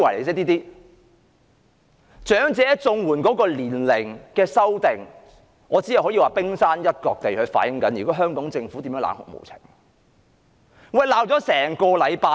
在長者綜援年齡的修訂上，我只可以說，這只是反映了香港政府冷酷無情一面的冰山一角。